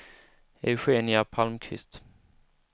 Eugenia Palmqvist